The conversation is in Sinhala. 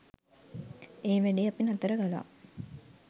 ඒ වැඩේ අපි නතර කළා.